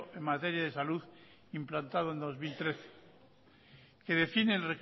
en materia de salud implantado en dos mil trece que define el